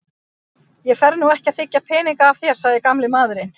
Ég fer nú ekki að þiggja peninga af þér sagði gamli maðurinn.